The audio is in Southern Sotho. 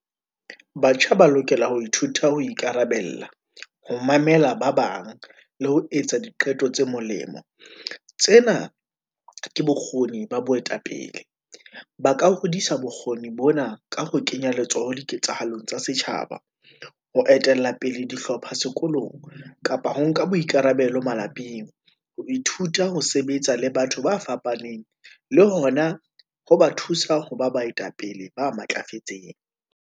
Batjha ba lokela ho ithuta ho ikarabella, ho mamela ba bang, le ho etsa diqeto tse molemo. Tsena ke bokgoni ba boetapele, ba ka hodisa bokgoni bona ka ho kenya letsoho diketsahalong tsa setjhaba. Ho etella pele dihlopha sekolong, kapa ho nka boikarabelo malapeng, ho ithuta, ho sebetsa le batho ba fapaneng, le hona ho ba thusa ho ba baetapele ba matlafetseng.